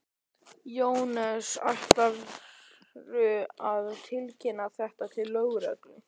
Jóhannes: Ætlarðu að tilkynna þetta til lögreglu?